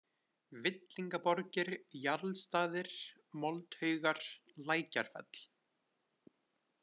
Villingaborgir, Jarlsstaðir, Moldhaugar, Lækjarfell